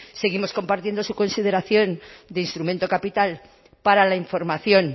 seguimos compartiendo su consideración de instrumento capital para la información